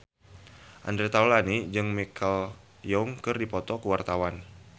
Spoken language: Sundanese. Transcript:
Andre Taulany jeung Michelle Yeoh keur dipoto ku wartawan